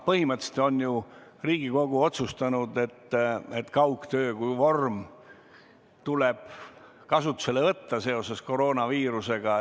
Põhimõtteliselt on ju Riigikogu otsustanud, et kaugtöö kui vorm tuleb kasutusele võtta seoses koroonaviirusega.